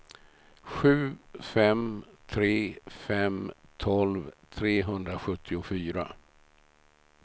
sju fem tre fem tolv trehundrasjuttiofyra